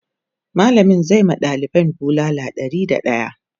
mallamin zai ma ɗalibin bulala Ɗari da daya